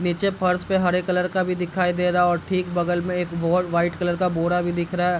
नीचे फर्श पे हरे कलर का भी दिखाई दे रहा है और ठीक बगल में एक बो व्हाइट कलर का बोरा भी दिख रहा है।